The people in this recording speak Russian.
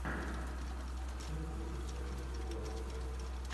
хочу увидеть российскую классику